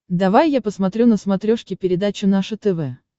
давай я посмотрю на смотрешке передачу наше тв